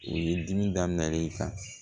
U ye dimi daminɛ i kan